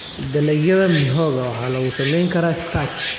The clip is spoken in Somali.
Dalagyada mihogo waxaa lagu samayn karaa starch.